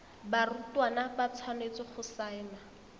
barutwana ba tshwanetse go saena